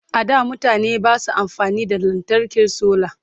a da mutane Basu amfani da lantarkin solar